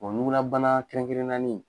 ɲugulabana kɛrɛnkɛrɛnnani